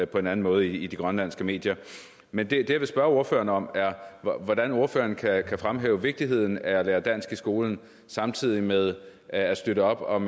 på en anden måde i de grønlandske medier men det jeg vil spørge ordføreren om er hvordan ordføreren kan fremhæve vigtigheden af at lære dansk i skolen samtidig med at støtte op om